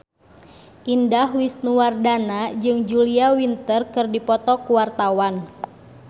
Indah Wisnuwardana jeung Julia Winter keur dipoto ku wartawan